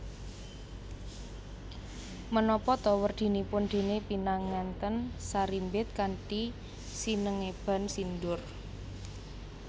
Menapa ta werdinipun dene pinanganten sarimbit kanthi sinengeban sindur